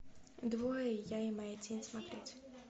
двое я и моя тень смотреть